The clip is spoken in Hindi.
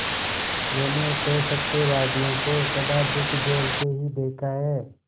मैंने तो सत्यवादियों को सदा दुःख झेलते ही देखा है